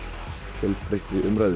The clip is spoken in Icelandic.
fjölbreyttri umræðu